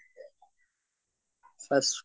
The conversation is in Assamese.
fast